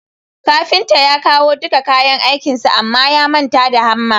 Kafintan ya kawo dika kayan aikinsa Amma ya manta da hamma